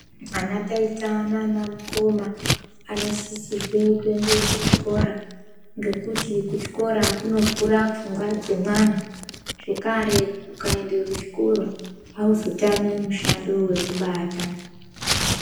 Ana taita naana mukoma ano sisirwe kuende kuchikora, ngekuti kuchikora kuno vhura pfungwa dzemwana. Zvekare ukaende kuchikora, awuzotami mushando wekubata.